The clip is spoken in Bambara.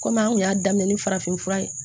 Kɔmi an kun y'a daminɛ ni farafin fura ye